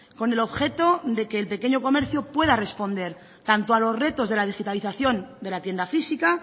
con el objeto de que el pequeño comercio pueda responder tanto a los retos de la digitalización de la tienda física